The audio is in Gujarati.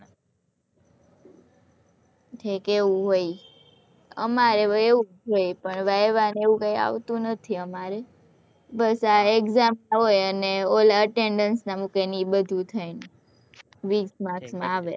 ઠીક હૈ વહી અમારે એવું જ હોય પણ વાયવા ને આવું કઈ આવતું નથી અમારે બસ આ exam ના હોય ને ઓલા attendance ના મુકે એ બધું થઇ ને વીશ marks આવે